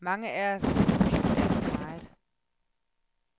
Mange af os har spist alt for meget.